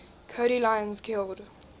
cody lyons killed